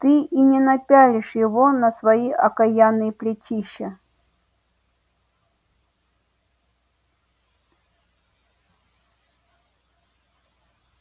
ты и не напялишь его на свои окаянные плечища